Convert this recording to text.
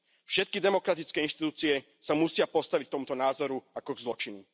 Všetky demokratické inštitúcie sa musia postaviť k tomuto názoru ako k zločinu.